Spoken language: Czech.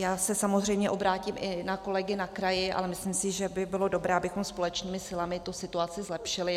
Já se samozřejmě obrátím i na kolegy na kraji, ale myslím si, že by bylo dobré, abychom společnými silami tu situaci zlepšili.